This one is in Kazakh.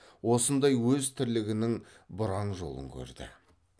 осындай өз тірлігінің бұраң жолын көрді